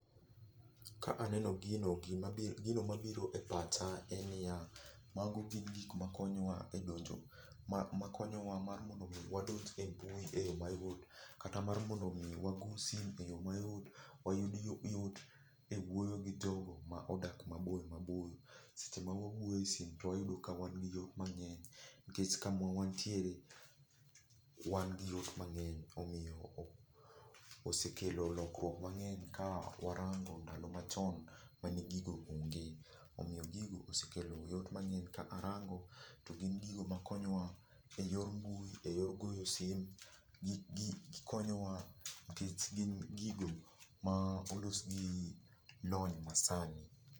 Ka aneno gino gimabiro, gino mabiro e pacha en ni ya, mago gin gik ma konyo wa e donjo, ma konyo wa mar mondo mi wadonj e mbui e yo mayot, kata mar mondo mi wago simu e yot, wayud yo yot e wuoyo gi jogo ma odak maboyo maboyo. Seche ma wawuoyo e simu to wayudo ka wan gi yot mang'eny nikech kama wantiere, wan gi yot mang'eny. Omiyo osekelo lokruok mang'eny ka warango ndalo machon mane gigo onge. Omiyo gigo osekelo yot mang'eny, ka arango, to gin gigo ma konyo wa e yor mbui, e yor goyo simu, gi gi gikonyo wa nikech gin gigo ma olos gi lony ma sani.